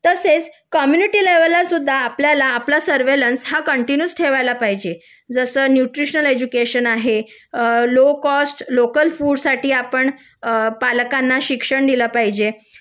तसेच कम्युनिटी लेवलला सुद्धा आपल्या आपला सर्वेलन्स कंटीन्यू ठेवायला पाहिजे जसं न्यूट्रिशन एज्युकेशन आहे लो कॉस्ट लोकल फुड साठी आपण पालकांना शिक्षण दिले पाहिजे